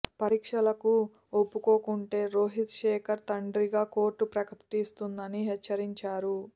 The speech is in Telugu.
పరీక్షలకు ఒప్పుకోకుంటే రోహిత్ శేఖర్ తండ్రిగా కోర్టు ప్రకటిస్తుందని హెచ్చరించారు